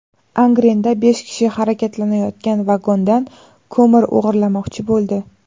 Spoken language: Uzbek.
Angrenda besh kishi harakatlanayotgan vagondan ko‘mir o‘g‘irlamoqchi bo‘ldi.